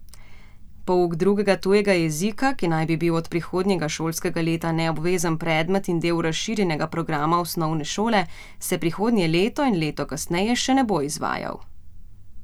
Pouk drugega tujega jezika, ki naj bi bil od prihodnjega šolskega leta neobvezen predmet in del razširjenega programa osnovne šole, se prihodnje leto in leto kasneje še ne bo izvajal.